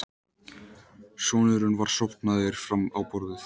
Sonurinn var sofnaður fram á borðið.